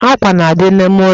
Àkwà na-adị n'ime ụlọ